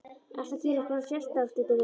Ertu að gera eitthvað sérstakt, Diddi minn.